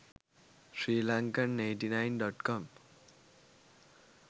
sri lankan 89.com